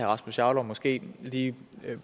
rasmus jarlov måske lige